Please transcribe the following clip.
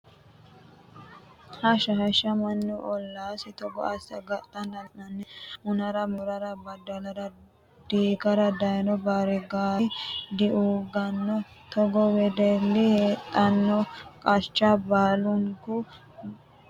Hashsha hashsha mannu ollasi togo asse agadhanna la'nanni hunara moorara badalara diigara daano baarigari diugano togoo wedelli heedhano qacha baalunku gadhachoti ollu keere agadha.